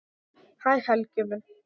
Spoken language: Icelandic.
Hæ Helgi minn.